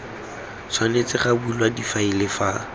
tshwanetse ga bulwa difaele fa